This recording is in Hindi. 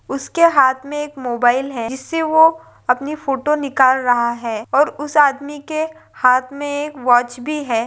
उसके हात में एक मोबाइल है जिससे वो अपनी फोटो निकाल रहा है और उस आदमी के हात में एक वॉच भी है।